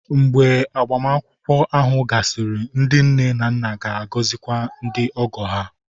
Mgbe agbamakwụkwọ ahụ gasịrị, ndị nne na nna ga-agọzikwa ndị ogo ha